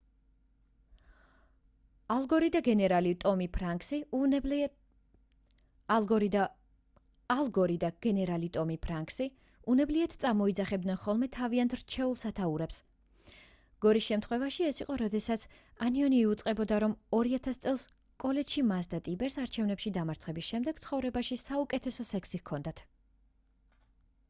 ალ გორი და გენერალი ტომი ფრანქსი უნებლიეთ წარმოიძახებნდნენ ხოლმე თავიანთ რჩეულ სათაურებს გორის შემთხვევაში ეს იყო როდესაც ანიონი იუწყებოდა რომ 2000 წელს კოლეჯში მას და ტიპერს არჩევნებში დამარცხების შემდეგ ცხოვრებაში საუკეთესო სექსი ჰქონდათ